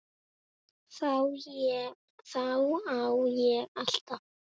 Þá á ég alltaf.